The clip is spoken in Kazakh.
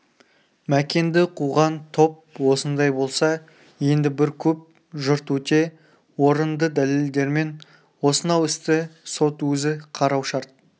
мәкенді қуған топ осындай болса енді бір көп жұрт өте орынды дәлелдермен осынау істі сот өзі қарау шарт